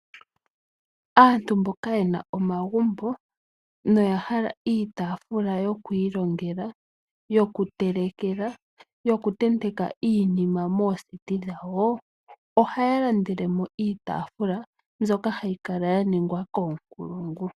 Aantu mboka ye na omagumbo noya hala iitaafula yoku ilongela, yokutelekela, yokutenteka iinima moondunda dhawo dhoku uhala ohaya landele mo iitaafula mbyoka hayi kala ya ningwa koonkulungu.